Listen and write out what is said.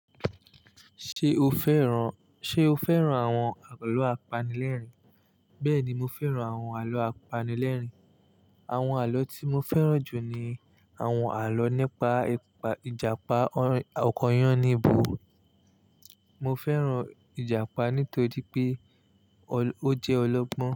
Ṣé o fẹ́ran, ṣe o fẹ́ran àwọn àlọ́ apanilẹ́rìn? Bẹ́ẹ̀ni, mo fẹ́ran àwọn àlọ́ apanilẹ́rìn. Àwọn àlọ́ tí mo fẹ́ran jù ni àwọn àlọ́ nípa ìjàpá ọkọ Yáníbo. Mo fẹ́ran ìjàpá nítorí pé ó jẹ́ ọlọ́gbọ́n.